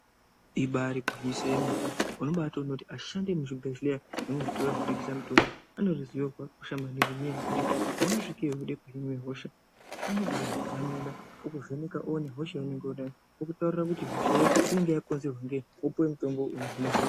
Ibairi gwinyiso yemene uno baito ona kuti ashandi emu zvibhedhleya nemu zvitoro zvino tengese mutombo ane ruzivo rwaka kosha maningi ne nyaya yekuti pauno svikeyo weide ku hinwe hosha anoku zamina oku vheneka owone hosha ya unenge unayo oku taurira kuti hosha yo inenge ya konzerwa ngei wopuwe mutombo ino hine hosha.